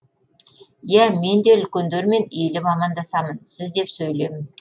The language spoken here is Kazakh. иә мен де үлкендермен иіліп амандасамын сіз деп сөйлеймін